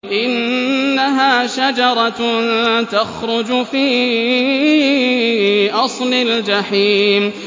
إِنَّهَا شَجَرَةٌ تَخْرُجُ فِي أَصْلِ الْجَحِيمِ